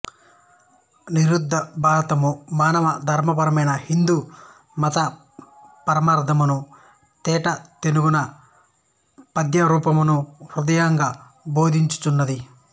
నిరుద్ధ భారతము మానవ ధర్మపరమైన హిందూ మత పరమార్ధమును తేటతెనుగున పద్యరూపమునను హృద్యముగ బోధించుచున్నది